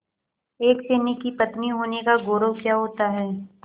एक सैनिक की पत्नी होने का गौरव क्या होता है